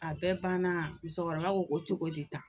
A bɛɛ banna musokɔrɔba ko ko cogo di tan